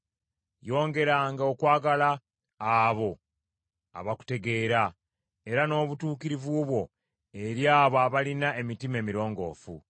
Yongeranga okwagala abo abakutegeera, era n’obutuukirivu bwo eri abo abalina emitima emirongoofu.